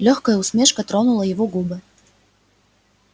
лёгкая усмешка тронула его губы